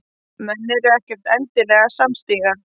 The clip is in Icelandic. Menn eru ekkert endilega samstíga